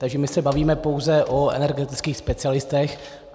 Takže my se bavíme pouze o energetických specialistech.